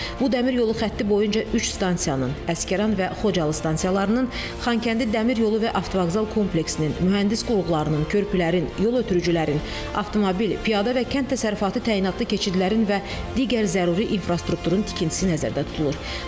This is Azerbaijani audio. Bu Dəmir yolu xətti boyunca üç stansiyanın, Əsgəran və Xocalı stansiyalarının, Xankəndi Dəmir yolu və avtovağzal kompleksinin, mühəndis qurğularının, körpülərin, yol ötürücülərin, avtomobil, piyada və kənd təsərrüfatı təyinatlı keçidlərin və digər zəruri infrastrukturun tikintisi nəzərdə tutulur.